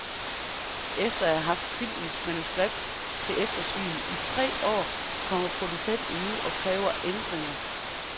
Efter at have haft filmens manuskript til eftersyn i tre år kommer producenten nu og kræver ændringer.